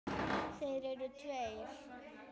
Þeir eru tveir.